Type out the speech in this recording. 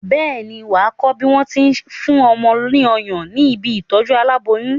Bẹ́ẹ̀ ni, wà á kọ́ nípa bí wà á ṣe fún ọmọ ní ọyàn ní ibi ìtọ́jú aláboyún.